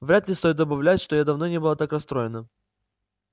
вряд ли стоит добавлять что я давно не была так расстроена